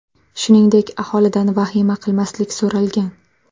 Shuningdek, aholidan vahima qilmaslik so‘ralgan.